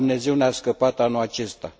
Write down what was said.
Numai Dumnezeu ne a scăpat anul acesta.